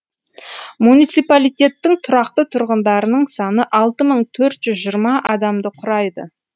муниципалитеттің тұрақты тұрғындарының саны алты мың төрт жүз жиырма адамды құрайды